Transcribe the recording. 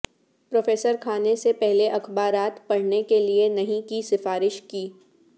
professor کھانے سے پہلے اخبارات پڑھنے کے لئے نہیں کی سفارش کی